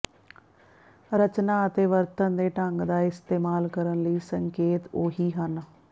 ਰਚਨਾ ਅਤੇ ਵਰਤਣ ਦੇ ਢੰਗ ਦਾ ਇਸਤੇਮਾਲ ਕਰਨ ਲਈ ਸੰਕੇਤ ਉਹ ਹੀ ਹਨ